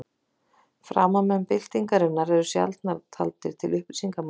Framámenn byltingarinnar eru sjaldan taldir til upplýsingarmanna.